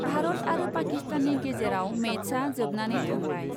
भारत आरो पाकिस्ताननि गेजेराव मेचआ जोबनानै थांबाय ।